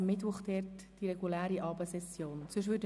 Am Mittwoch würde die reguläre Abendsession stattfinden.